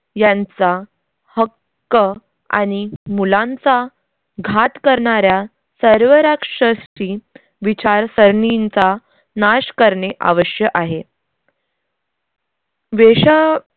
यांचा हक्क आणि मूल्यांचा घात करणाऱ्या सर्व राक्षसी विचारसरणींचा नाश करणे आवश्य आहे. वेशा अ